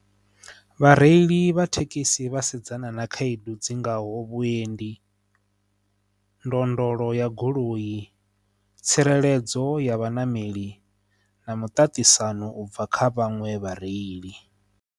Vhareili vha thekhisi vha sedzana na khaedu dzi ngaho vhuendi ndondolo ya goloi tsireledzo ya vhaṋameli na muṱaṱisano ubva kha vhaṅwe vhareili.